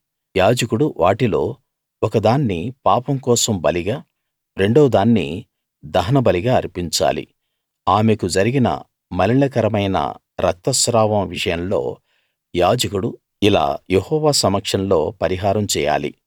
యాజకుడు వాటిలో ఒక దాన్ని పాపం కోసం బలిగా రెండోదాన్ని దహనబలిగా అర్పించాలి ఆమెకు జరిగిన మలినకరమైన రక్త స్రావం విషయంలో యాజకుడు ఇలా యెహోవా సమక్షంలో పరిహారం చేయాలి